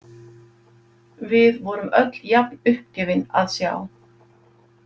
Við vorum öll jafn uppgefin að sjá.